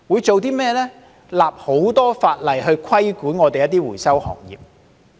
就是訂立很多法例來規管回收行業。